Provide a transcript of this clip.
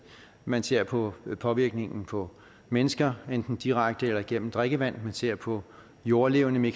man ser på påvirkningen på mennesker enten direkte eller igennem drikkevand man ser på jordlevende